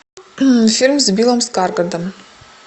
фильм с биллом скарсгардом